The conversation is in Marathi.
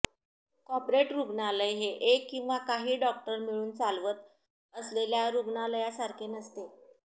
कॉर्पोरेट रुग्णालय हे एक किंवा काही डॉक्टर मिळून चालवत असलेल्या रूग्णालयासारखे नसते